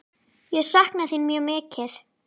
Ég sakna þín mjög mikið.